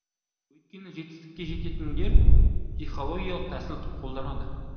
өйткені жетістікке жететіндер психологиялық тәсіл қолданады